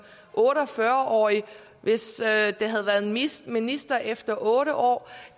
otte og fyrre årig og hvis jeg havde været minister minister efter otte år